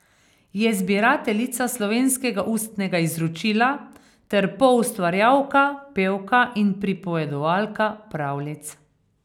Je zbirateljica slovenskega ustnega izročila ter poustvarjalka, pevka in pripovedovalka pravljic.